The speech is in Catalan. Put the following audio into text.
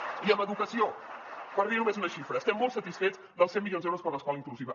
i en educació per dir només una xifra estem molt satisfets dels cent milions d’euros per a l’escola inclusiva